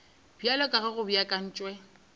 bjalo ka ge go beakantšwe